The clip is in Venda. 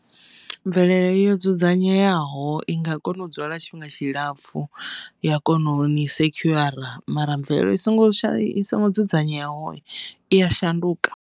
Mvelele yo dzudzanyeaho i nga kona u dzula tshifhinga tshilapfhu ya koni sekhuara mara mvelelo i songo i songo dzudzanyeaho i ya shanduka.